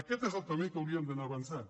aquest és el camí en què hauríem d’anar avançant